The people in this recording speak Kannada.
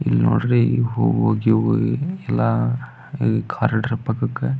ಇಲ್ಲಿ ನೋಡ್ರಿ ಹೂವು ಗಿವು ಎಲ್ಲಾ ಕಾರಿಡಾರ್ ಪಕ್ಕಕ್ಕೆ --